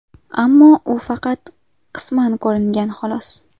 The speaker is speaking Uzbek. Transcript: Ammo u faqat qisman ko‘ringan, xolos.